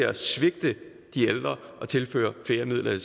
at svigte de ældre at tilføre flere midler